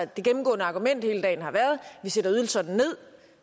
det gennemgående argument hele dagen har været vi sætter ydelserne ned